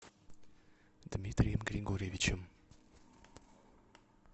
дмитрием григорьевичем